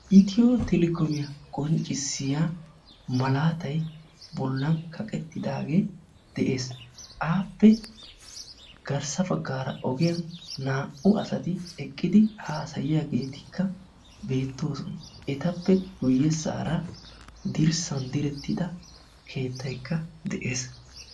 ethio telecommiya qoncisiyaa malatay de"eesi appe garssa bagara ogiyani naa"u assati eqidi haassayiyageti bettosona ettappe guyessara dirssani direttida keetaykka de"eesi.